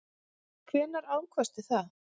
Hvenær ákvaðstu það?